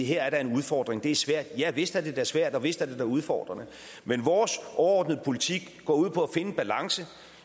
her er en udfordring det er svært ja vist er det da svært og vist er det da udfordrende men vores overordnede politik går ud på at en balance